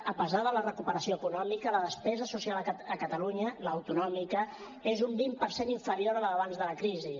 a pesar de la recuperació econòmica la despesa social a catalunya l’autonòmica és un vint per cent inferior a la d’abans de la crisi